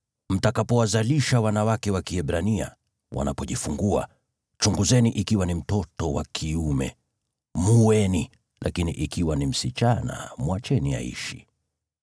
“Mtakapowazalisha wanawake wa Kiebrania, chunguzeni wanapojifungua. Ikiwa ni mtoto wa kiume, muueni, lakini ikiwa ni msichana, mwacheni aishi.”